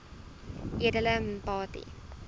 edele mpati